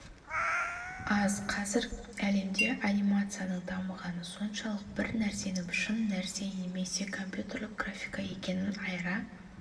аз қазір әлемде анимацияның дамығаны соншалық бір нәрсенің шын нәрсе немесе компьютерлік графика екенін айыра